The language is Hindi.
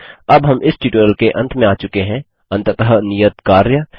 अब हम इस ट्यूटोरियल के अंत में आ चुके हैं अंततः नियत कार्य